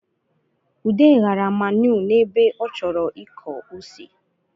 Ude ghara manụ n’ebe ọ chọrọ ịkọ ose